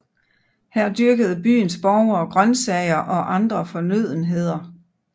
Her dyrkede byens borgere grøntsager og andre fornødenheder